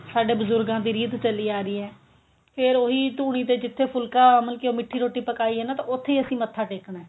ਸਾਡੇ ਬਜੁਰਗਾਂ ਦੀ ਰੀਤ ਚਲੀ ਆ ਰਹੀ ਏ ਫਿਰ ਉਹੀ ਧੂਣੀ ਤੇ ਜਿੱਥੇ ਫੁਲਕਾ ਮਤਲਬ ਕਿ ਉਹ ਮਿੱਠੀ ਰੋਟੀ ਪਕਾਈ ਏ ਨਾ ਤਾਂ ਮਤਲਬ ਕਿ ਆਪਾਂ ਉੱਥੇ ਹੀ ਮੱਥਾ ਟੇਕਣਾ